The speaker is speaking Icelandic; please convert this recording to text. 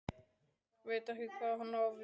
Veit ekki hvað hann á við.